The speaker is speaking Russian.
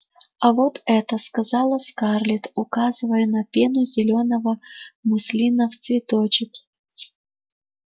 а вот это сказала скарлетт указывая на пену зелёного муслина в цветочек